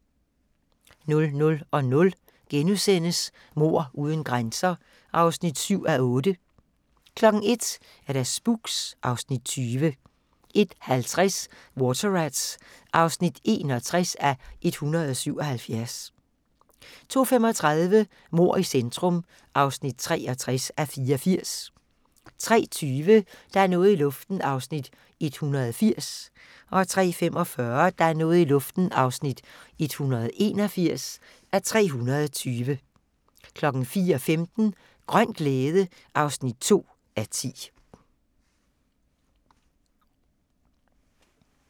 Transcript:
00:00: Mord uden grænser (7:8)* 01:00: Spooks (Afs. 20) 01:50: Water Rats (61:177) 02:35: Mord i centrum (63:84) 03:20: Der er noget i luften (180:320) 03:45: Der er noget i luften (181:320) 04:15: Grøn glæde (2:10)